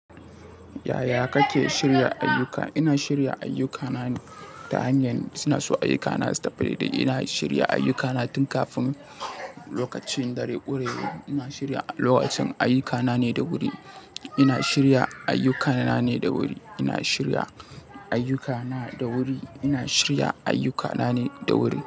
Yaya kake shirya ayyuka? Ina shirya ayyukanane ta hanyar suna so ayyukana su tafi da inda shirya ayyukana tun kafin lokacin dare ƙure. Ina shirya lokacin ayyukana ne da wuri. Ina shirya ayyukana ne da wuri. Ina shirya ayyukana da wuri. Ina shirya ayyukana ne da wuri.